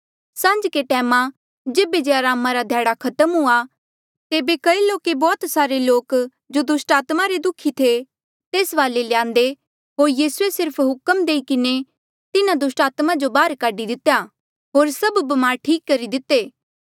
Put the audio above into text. सांझ्के टैमा जेबे जे अरामा रा ध्याड़ा खत्म हुआ तेबे कई लोके बौह्त सारे लोक जो दुस्टात्मा रे दुखी थे तेस वाले ल्यांदे होर यीसूए सिर्फ हुक्म देई किन्हें तिन्हा दुस्टात्मा जो बाहर काढी दितेया होर सभ ब्मार ठीक करी दिते